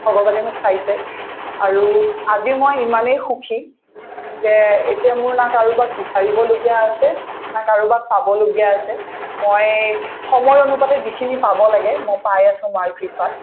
ভগৱানে মোক চাইছে আৰু আজিও মই ইমানেই সুখী যে এতিয়া মোৰ না কাৰোবাক বিচাৰিবলগীয়া আছে না কাৰোবাক পাবলগীয়া আছে মই সময় অনুপাতে যিখিনি পাব লাগে মই পাই আছো মাৰ কৃপাত